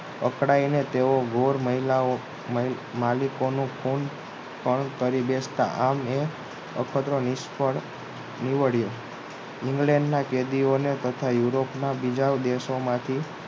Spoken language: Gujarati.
પકડાઈને તેઓ ગોર મહિલાઓ માલિકોનું ખૂન પણ કરી બેસતા આમ એ અખતરો નિષ્ફળ નીકળ્યો ઇંગ્લેન્ડના કેદીઓને તથા યુરોપના બીજા દેશોમાં થી